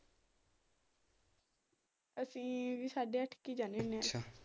ਅਸੀ ਸਾਡੇ ਅੱਠ ਹੀ ਜਾਂਦੇ ਹੁਣੇ ਆ।